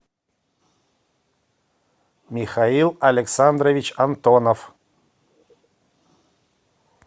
михаил александрович антонов